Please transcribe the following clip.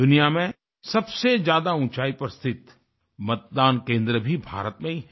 दुनिया में सबसेज्यादा ऊंचाई पर स्थित मतदान केंद्र भी भारत में ही है